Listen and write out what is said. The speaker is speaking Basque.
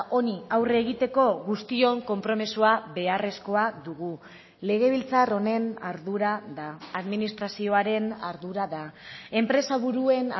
honi aurre egiteko guztion konpromisoa beharrezkoa dugu legebiltzar honen ardura da administrazioaren ardura da enpresa buruen